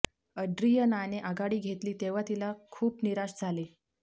अड्रीयनाने आघाडी घेतली तेव्हा तिला खूप निराश झाले